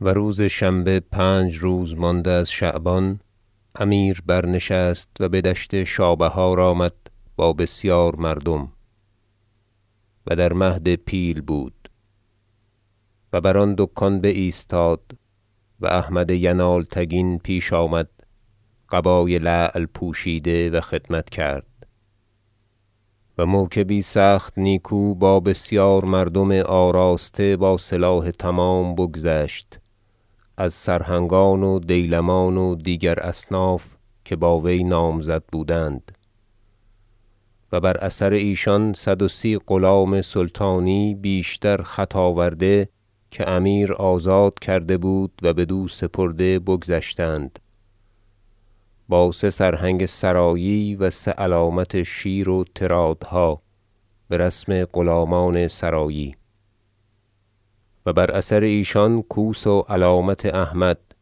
و روز شنبه پنج روز مانده از شعبان امیر برنشست و بدشت شابهار آمد با بسیار مردم و در مهد پیل بود و بر آن دکان بایستاد و احمد ینالتگین پیش آمد قبای لعل پوشیده و خدمت کرد و موکبی سخت نیکو با بسیار مردم آراسته با سلاح تمام بگذشت از سرهنگان و دیلمان و دیگر اصناف که با وی نامزد بودند و بر اثر ایشان صد و سی غلام سلطانی بیشتر خط آورده که امیر آزاد کرده بود و بدو سپرده بگذشتند با سه سرهنگ سرایی و سه علامت شیر و طرادهاد برسم غلامان سرایی و بر اثر ایشان کوس و علامت احمد-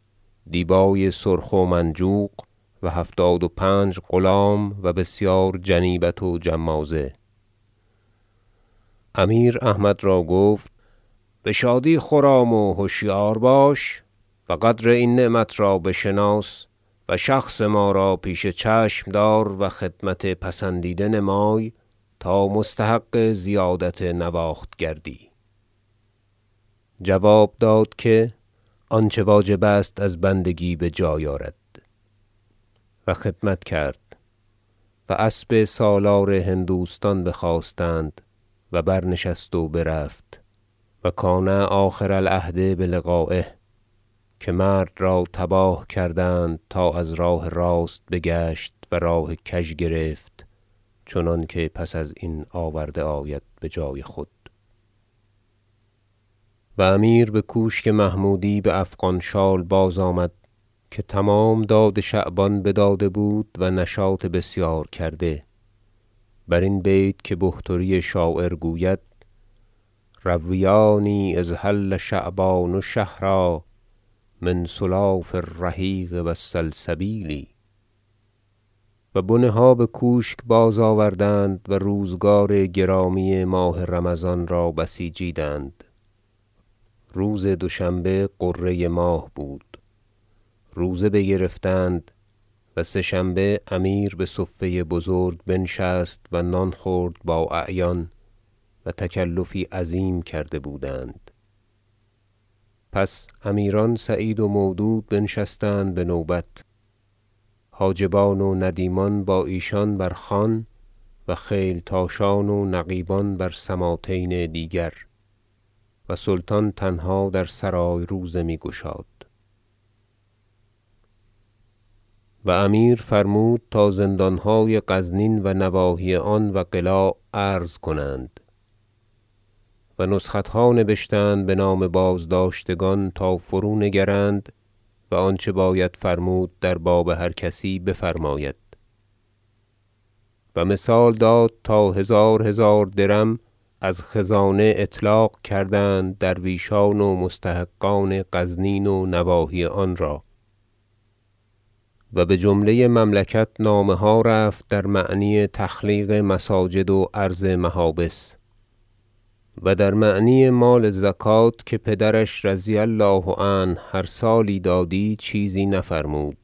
دیبای سرخ و منجوق - و هفتاد و پنج غلام و بسیار جنیبت و جمازه امیر احمد را گفت بشادی خرام و هشیار باش و قدر این نعمت را بشناس و شخص ما را پیش چشم دار و خدمت پسندیده نمای تا مستحق زیادت نواخت گردی جواب داد که آنچه واجب است از بندگی بجای آرد و خدمت کرد و اسب سالار هندوستان بخواستند و برنشست و برفت و کان آخر العهد بلقایه که مرد را تباه کردند تا از راه راست بگشت و راه کژ گرفت چنانکه پس از این آورده آید بجای خود و امیر بکوشک محمودی به افغان شال باز آمد که تمام داد شعبان بداده بود و نشاط بسیار کرده برین بیت که بحتری شاعر گوید شعر رویانی اذ حل شعبان شهرا من سلاف الرحیق و السلسبیل و بنه ها بکوشک باز آوردند و روزگار گرامی ماه رمضان را بسیجیدند روز دوشنبه غره ماه بود روزه بگرفتند و سه شنبه امیر بصفه بزرگ بنشست و نان خورد با اعیان- و تکلفی عظیم کرده بودند- پس امیران سعید و مودود بنشستند بنوبت حاجبان و ندیمان با ایشان بر خوان و خیلتاشان و نقیبان بر سماطین دیگر و سلطان تنها در سرای روزه می گشاد و امیر فرمود تا زندانهای غزنین و نواحی آن و قلاع عرض کنند و نسختها نبشتند بنام بازداشتگان تا فرو نگرند و آنچه باید فرمود در باب هر کسی بفرماید و مثال داد تا هزار هزار درم از خزانه اطلاق کردند درویشان و مستحقان غزنین و نواحی آن را و بجمله مملکت نامه ها رفت در معنی تخلیق مساجد و عرض محابس و در معنی مال زکوة که پدرش رضی الله عنه هر سالی دادی چیزی نفرمود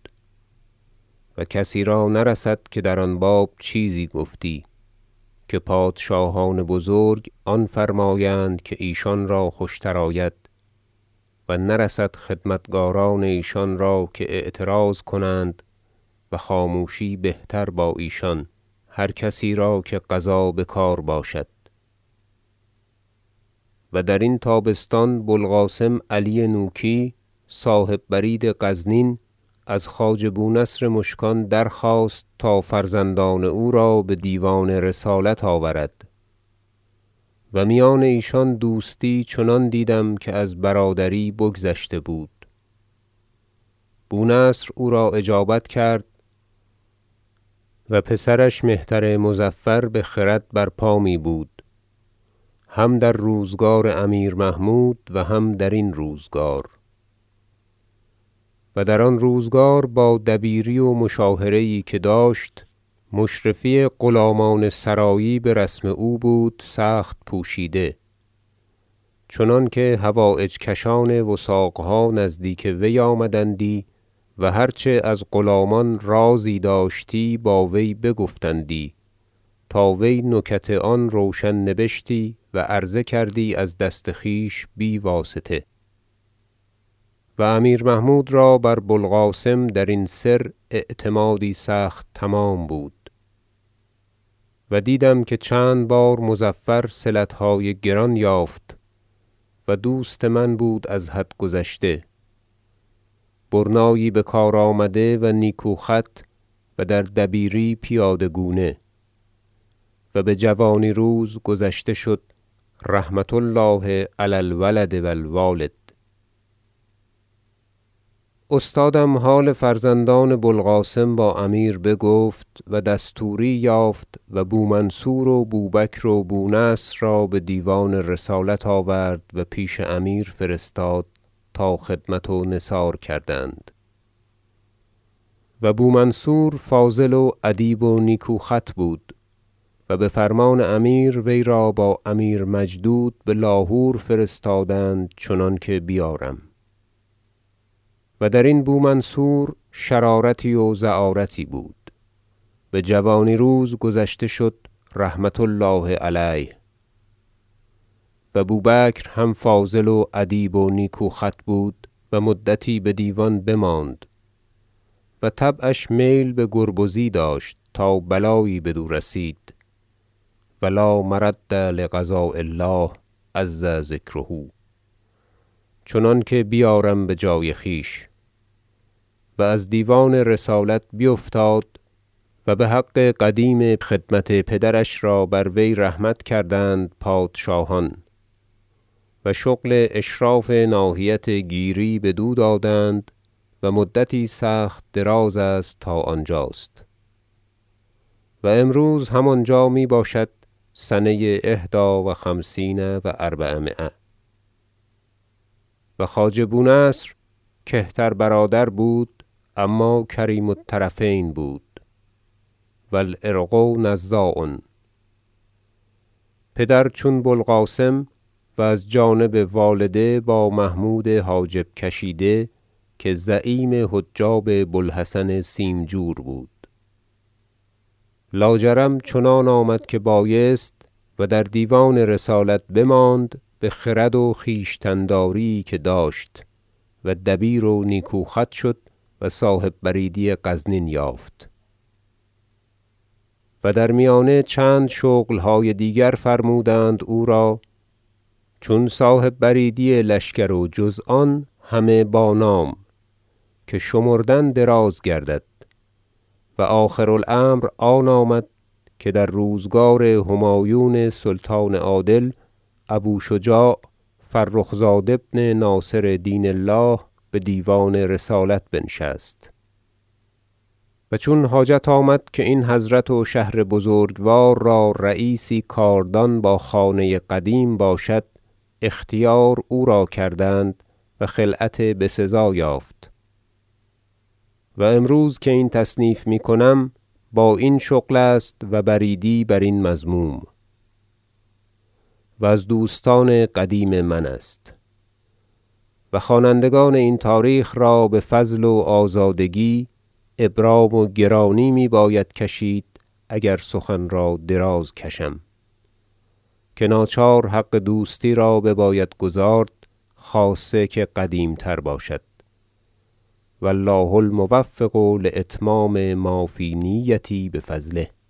و کسی را نرسد که در آن باب چیزی گفتی که پادشاهان بزرگ آن فرمایند که ایشان را خوشتر آید و نرسد خدمتکاران ایشان را که اعتراض کنند و خاموشی بهتر با ایشان هر کسی را که قضا بکار باشد پسران بو القاسم نوکی در دیوان رسالت و درین تابستان بوالقاسم علی نوکی صاحب برید غزنین از خواجه بونصر مشکان درخواست تا فرزندان او را بدیوان رسالت آورد- و میان ایشان دوستی چنان دیدم که از برادری بگذشته بود- بونصر او را اجابت کرد و پسرش مهتر مظفر بخرد برپا می بود هم در روزگار امیر محمود و هم درین روزگار و در آن روزگار با دبیری و مشاهره یی که داشت مشرفی غلامان سرایی برسم او بود سخت پوشیده چنانکه حوایج کشان وثاقها نزدیک وی آمدندی و هر چه از غلامان رازی داشتی با وی بگفتندی تا وی نکت آن روشن نبشتی و عرضه کردی از دست خویش بی واسطه و امیر محمود را بر بوالقاسم درین سر اعتمادی سخت تمام بود و دیدم که چند بار مظفر صلتهای گران یافت و دوست من بود از حد گذشته برنایی بکار آمده و نیکو خط و در دبیری پیاده گونه و بجوانی روز گذشته شد رحمة الله علی الولد و الوالد استادم حال فرزندان بو القاسم با امیر بگفت و دستوری یافت و بومنصور و بوبکر و بونصر را بدیوان رسالت آورد و پیش امیر فرستاد تا خدمت و نثار کردند و بومنصور فاضل و ادیب و نیکو خط بود و بفرمان امیر وی را با امیر مجدود بلاهور فرستادند چنانکه بیارم و درین منصور شرارتی و زعارتی بود بجوانی روز گذشته شد رحمة الله علیه و بوبکر هم فاضل و ادیب و نیکو خط بود و مدتی بدیوان بماند و طبعش میل بگربزی داشت تا بلایی بدو رسید- و لا مرد لقضاء الله عز ذکره - چنانکه بیارم بجای خویش و از دیوان رسالت بیفتاد و بحق قدیم خدمت پدرش را بر وی رحمت کردند پادشاهان و شغل اشراف ناحیت گیری بدو دادند و مدتی سخت درازست تا آنجاست و امروز هم آنجا می باشد سنه احدی و خمسین و اربعمایه و خواجه بونصر کهتر برادر بود اما کریم الطرفین بود و العرق نزاع پدر چون بو القاسم و از جانب والده با محمود حاجب کشیده که زعیم حجاب بو الحسن سیمجور بود لاجرم چنان آمد که بایست و در دیوان رسالت بماند به خرد و خویشتن داریی که داشت و دبیر و نیکو خط شد و صاحب بریدی غزنین یافت و در میانه چند شغل های دیگر فرمودند او را چون صاحب بریدی لشکر و جز آن همه با نام که شمردن دراز گردد و آخر الامر آن آمد که در روزگار همایون سلطان عادل ابو شجاع فرخ زاد ابن ناصر دین الله بدیوان رسالت بنشست و چون حاجت آمد که این حضرت و شهر بزگوار را رییسی کاردان با خانه قدیم باشد اختیار او را کردند و خلعت بسزا یافت و امروز که این تصنیف می کنم با این شغل است و بریدی برین مضموم و از دوستان قدیم من است و خوانندگان این تاریخ را بفضل و آزادگی ابرام و گرانی می باید کشید اگر سخن را دراز کشم که ناچار حق دوستی را بباید گزارد خاصه که قدیمتر باشد و الله الموفق لاتمام ما فی نیتی بفضله